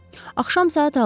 Axşam saat 6 idi.